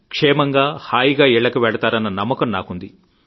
క్షేమంగా హాయిగా ఇళ్లకు వెళతారన్న నమ్మకం నాకుంది